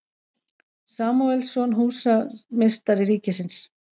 Samúelsson, húsameistari ríkisins.